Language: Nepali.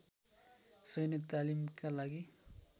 शैन्य तालिमका लागि